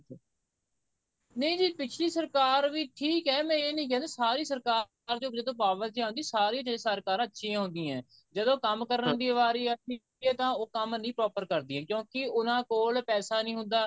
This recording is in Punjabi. ਨਹੀਂ ਜੀ ਪਿਛਲੀ ਸਰਕਾਰ ਵੀ ਠੀਕ ਐ ਮੈਂ ਇਹ ਨਹੀਂ ਕਹਿੰਦਾ ਕਿ ਸਾਰੀ ਸਰਕਾਰ ਦੀ ਜਦੋਂ power ਚ ਆਉਂਦੀ ਸਾਰੀਆਂ ਸਰਕਾਰਾਂ ਅੱਛੀਆਂ ਹੁੰਦੀਆਂ ਜਦੋਂ ਕੰਮ ਕਰਨ ਦੀ ਵਾਰੀ ਆ ਗਈ ਇਹ ਤਾਂ ਉਹਨ ਕੰਮ ਨਹੀਂ proper ਕਰਦੀਆਂ ਕਿਉਂਕਿ ਉਹਨਾ ਕੋਲ ਪੈਸਾ ਨਹੀਂ ਹੁੰਦਾ